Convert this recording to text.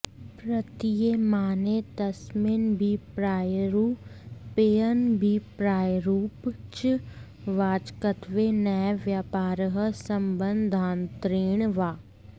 प्रतीयमाने तस्मिन्नभिप्रायरूपेऽनभिप्रायरूपे च वाचकत्वे नैव व्यापारः सम्बन्धान्तरेण वा